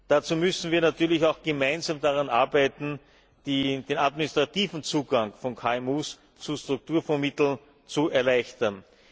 Dazu müssen wir natürlich auch gemeinsam daran arbeiten, den administrativen Zugang von KMU zu Strukturfondsmitteln zu erleichtern.